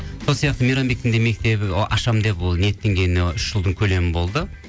сол сияқты мейрамбектің де мектебі ы ашам деп ол ниеттенгеніне үш жылдың көлемі болды